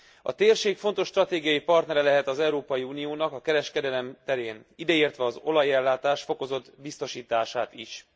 A térség fontos stratégiai partnere lehet az Európai Uniónak a kereskedelem terén, ideértve az olajellátás fokozott biztosítását is.